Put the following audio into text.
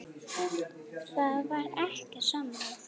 Það var ekkert samráð.